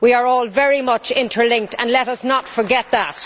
We are all very much interlinked let us not forget that.